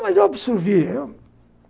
Mas eu absorvia.